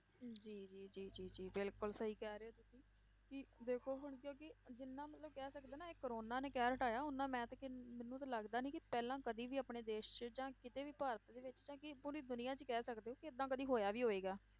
ਜੀ ਜੀ ਜੀ ਜੀ ਜੀ ਬਿਲਕੁਲ ਸਹੀ ਕਹਿ ਰਹੇ ਹੋ ਤੁਸੀਂ ਕਿ ਦੇਖੋ ਹੁਣ ਕਿਉਂਕਿ ਜਿੰਨਾ ਮਤਲਬ ਕਹਿ ਸਕਦੇ ਹਾਂ ਨਾ ਇਹ ਕੋਰੋਨਾ ਨੇ ਕਹਿਰ ਢਾਇਆ, ਓਨਾ ਮੈਂ ਤੇ ਕਿੰਨ~ ਮੈਨੂੰ ਤੇ ਲੱਗਦਾ ਨੀ ਕਿ ਪਹਿਲਾਂ ਕਦੇ ਵੀ ਆਪਣੇ ਦੇਸ 'ਚ ਜਾਂ ਕਿਤੇ ਵੀ ਭਾਰਤ ਦੇ ਵਿੱਚ ਨਾ ਕਿ ਪੂਰੀ ਦੁਨੀਆਂ 'ਚ ਹੀ ਕਹਿ ਸਕਦੇ ਹੋ ਕਿ ਏਦਾਂ ਕਦੇ ਹੋਇਆ ਵੀ ਹੋਏਗਾ।